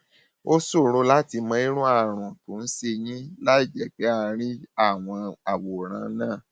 ó ṣòro láti mọ irú àrùn tó ń ṣe yín láìjẹ pé a rí àwòrán náà